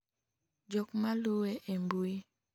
jok maluwe e mbui